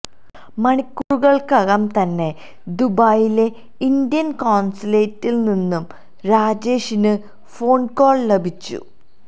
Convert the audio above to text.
മണിക്കൂറുകള്ക്കകം തന്നെ ദുബായിലെ ഇന്ത്യന് കോണ്സുലേറ്റില് നിന്ന് രാജേഷിന് ഫോണ്കോള് ലഭിച്ചു